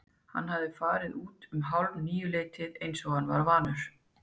Hann hafði farið út um hálfníuleytið eins og hann var vanur.